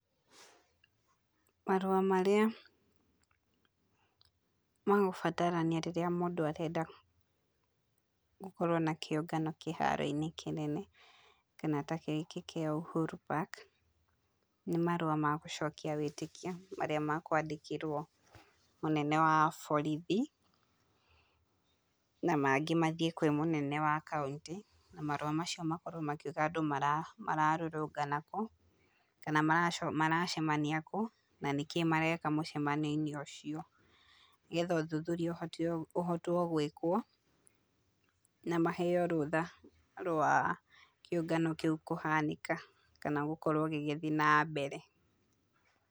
Marũa marĩa, magũbatarania rĩrĩa mũndũ arenda gũkorwo na kĩũngano kĩharo-inĩ kĩnene kana ta gĩkĩ kĩa Uhuru Park, nĩ marũa ma gũcokia wĩtĩkia marĩa makwandĩkĩrwo mũnene wa borithi, na mangĩ mathiĩ kwĩ mũnene wa kauntĩ, na marũa macio makorwo makiũga andũ mara mararũrũngana kũ, kana maracemania kũ, na nĩkĩ mareka mũcemanio-inĩ ũcio, nĩgetha ũthuthuria ũhotwo gũĩkwo, na maheo rũtha rwa kĩũngano kĩu kũhanĩka kana gũkorwo gĩgĩthiĩ na mbere.